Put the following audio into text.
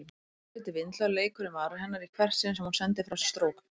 Örlítið vindhljóð leikur um varir hennar í hvert sinn sem hún sendir frá sér strók.